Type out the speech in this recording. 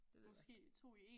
Det ved jeg ikke